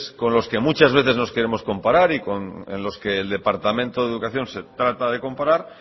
con los que muchas veces nos queremos comparar y en los que el departamento de educación se trata de comparar